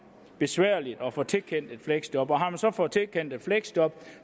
besværligt at få tilkendt et fleksjob og har man så fået tilkendt et fleksjob